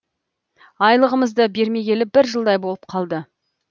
айлығымызды бермегелі бір жылдай болып қалды